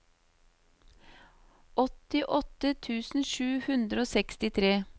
åttiåtte tusen sju hundre og sekstitre